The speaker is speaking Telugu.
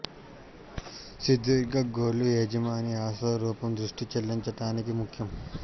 సుదీర్ఘ గోర్లు యజమాని అసలు రూపం దృష్టి చెల్లించటానికి ముఖ్యం